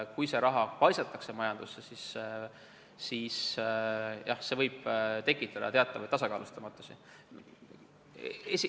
Kui see raha paisatakse majandusse, siis jah, see võib tekitada teatavat tasakaalustamatust.